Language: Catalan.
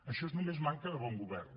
això és només manca de bon govern